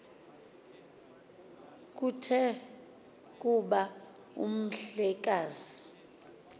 kuthe kuba umhlekazi